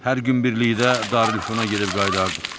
Hər gün birlikdə Darülfəna gedib qayıdardıq.